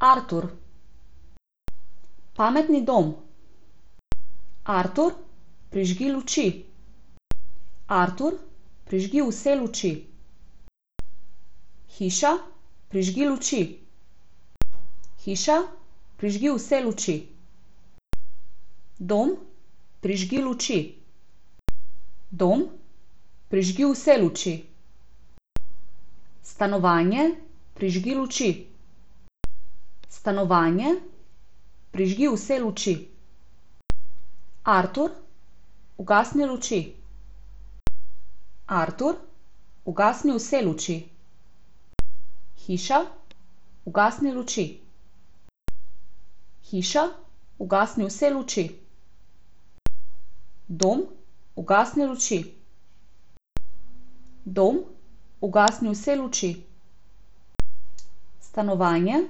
Artur. Pametni dom. Artur, prižgi luči. Artur, prižgi vse luči. Hiša, prižgi luči. Hiša, prižgi vse luči. Dom, prižgi luči. Dom, prižgi vse luči. Stanovanje, prižgi luči. Stanovanje, prižgi vse luči. Artur, ugasni luči. Artur, ugasni vse luči. Hiša, ugasni luči. Hiša, ugasni vse luči. Dom, ugasni luči. Dom, ugasni vse luči. Stanovanje,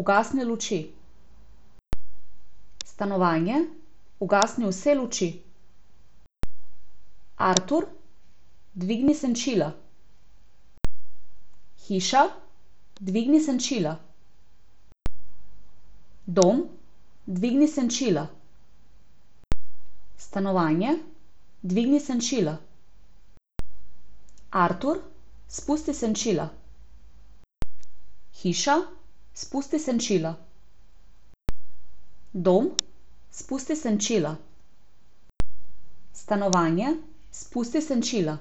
ugasni luči. Stanovanje, ugasni vse luči. Artur, dvigni senčila. Hiša, dvigni senčila. Dom, dvigni senčila. Stanovanje, dvigni senčila. Artur, spusti senčila. Hiša, spusti senčila. Dom, spusti senčila. Stanovanje, spusti senčila.